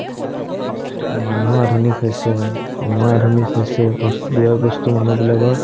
মানুহ আধুনিক হৈছে, সময় আধুনিক হৈছে বস্তু ব্যয়বস্তু মানুহবিলাকৰ